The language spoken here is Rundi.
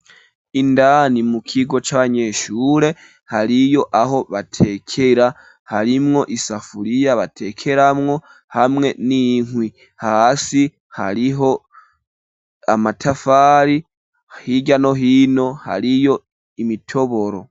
Indani mu kigo c'abanyeshure hariyo aho batekera, harimwo isafuriya batekeramwo hamwe n'inkwi, hasi hariho amatafari hirya no hino hariyo imitoboro.